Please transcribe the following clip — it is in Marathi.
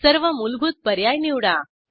सर्व मुलभूत पर्याय निवडा